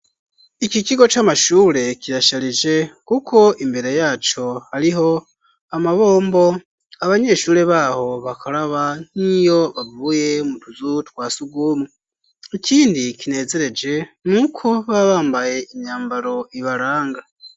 Iki kigo c'amashure kirasharije kuko imbere yaco hariho amabombo abanyeshure baho bakaraba nkiyo bavuye mutuzu twasugumwe ikindi kinezereje nuko baba bambaye imyambaro ibaranga.